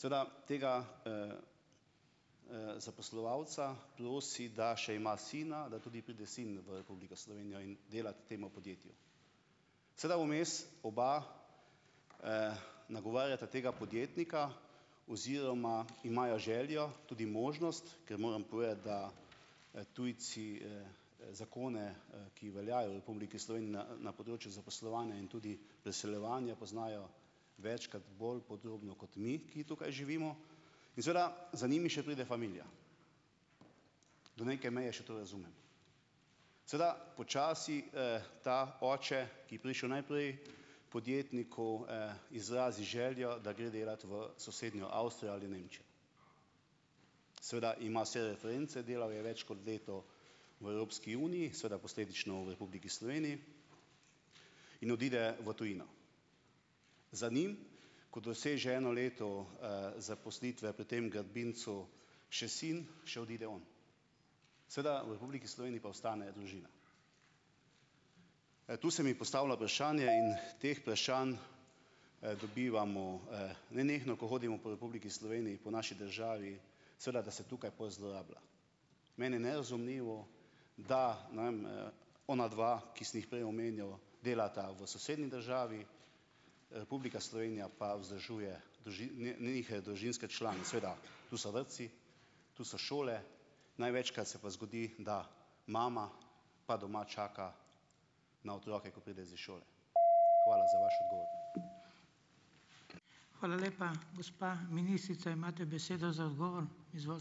Seveda tega, zaposlovalca prosi, da še ima sina, da tudi pride sin v Republiko Slovenijo in delat temu podjetju. Seveda vmes oba, nagovarjata tega podjetnika oziroma imajo željo, tudi možnost, ker moram povedati, da, tujci, zakone, ki veljajo v Republiki Sloveniji na, na področju zaposlovanja in tudi preseljevanja, poznajo večkrat bolj podrobno kot mi, ki tukaj živimo. In seveda za njimi še pride familija. Do neke meje še to razumem. Seveda počasi, ta oče, ki je prišel najprej, podjetniku, izrazi željo, da gre delat v sosednjo Avstrijo ali Nemčijo. Seveda ima vse reference, delal je več kot leto v Evropski uniji, seveda posledično v Republiki Sloveniji in odide v tujino. Za njim, ko doseže eno leto, zaposlitve pri tem gradbincu še sin, še odide on. Seveda v Republiki Sloveniji pa ostane družina. Tu se mi postavlja vprašanje in teh vprašanj, dobivamo nenehno, ko hodimo po Republiki Sloveniji, po naši državi, seveda, da se tukaj pol zlorablja. Meni je nerazumljivo, da ne vem, onadva, ki sem jih prej omenjal, delata v sosednji državi, Republika Slovenija pa vzdržuje njihove družinske člane. Seveda, tu so vrtci tu so šole, največkrat se pa zgodi, da mama pa doma čaka na otroke, ko pridejo z šole. Hvala za vaš odgovor.